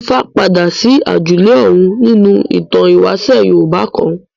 Ifá padà sí àjùlé ọ̀run nínú ìtàn ìwáṣẹ̀ Yorùbá kan.